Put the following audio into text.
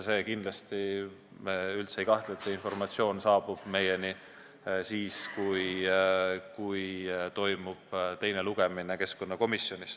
Me üldse ei kahtle, et see informatsioon saabub keskkonnakomisjoni enne teist lugemist.